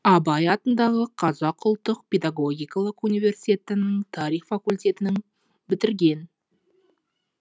абай атындағы қазақ ұлттық педагогикалық университетінің тарих факультетін бітірген